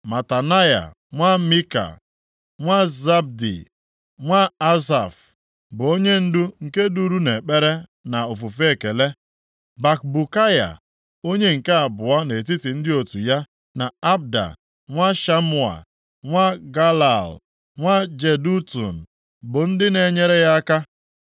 Matanaya nwa Mika, nwa Zabdi, nwa Asaf, bụ onyendu nke duru nʼekpere na ofufe ekele. Bakbukaya onye nke abụọ nʼetiti ndị otu ya, na Abda nwa Shamua, nwa Galal, nwa Jedutun, bụ ndị na-enyere ya aka.